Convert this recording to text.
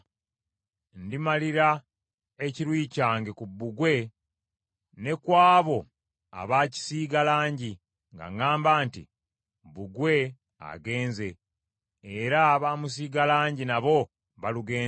Ndimalira ekiruyi kyange ku bbugwe ne ku abo abaakisiiga langi, nga ŋŋamba nti, “Bbugwe agenze, era abaamusiiga langi nabo balugenze,